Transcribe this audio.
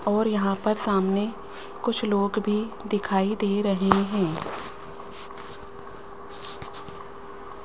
और यहां पर सामने कुछ लोग भी दिखाई दे रहे हैं।